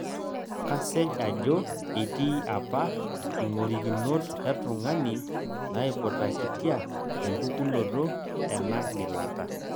kasej ajo etii apa ing'orikinot etung'ani naiputakitia empukunoto ena gilata